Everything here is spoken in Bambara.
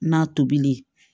Na tobili